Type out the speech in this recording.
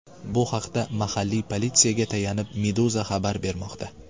Bu haqda, mahalliy politsiyaga tayanib, Meduza xabar bermoqda .